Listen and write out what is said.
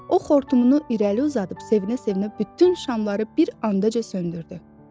O xortumunu irəli uzadıb sevinə-sevinə bütün şamları bir anda söndürdü.